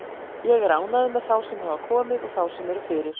Ég er ánægður með þá sem hafa komið og þá sem eru fyrir.